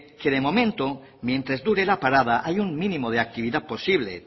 momento mientras dure la parada hay un mínimo de actividad posible